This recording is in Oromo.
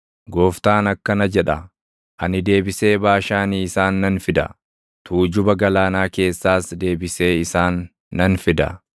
Gooftaan akkana jedha; “Ani deebisee Baashaanii isaan nan fida; tuujuba galaanaa keessaas deebisee isaan nan fida;